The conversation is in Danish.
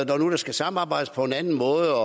når nu der skal samarbejdes på en anden måde